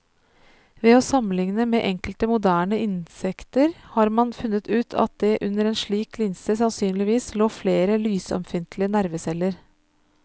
Ved å sammenligne med enkelte moderne insekter har man funnet ut at det under en slik linse sannsynligvis lå flere lysømfintlige nerveceller.